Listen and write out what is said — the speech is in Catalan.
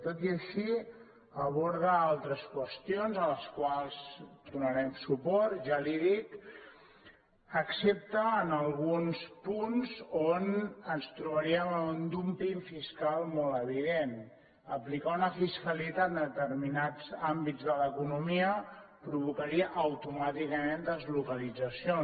tot i així aborda altres qüestions a les quals donarem suport ja li ho he dit excepte en alguns punts on ens trobaríem amb un dúmping fiscal molt evident aplicar una fiscalitat en determinats àmbits de l’economia provocaria automàticament deslocalitzacions